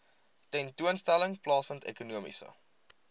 tentoonstelling plaasvind ekonomiese